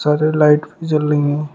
हरे light भी जल रही हैं।